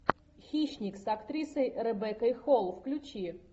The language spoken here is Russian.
хищник с актрисой ребеккой холл включи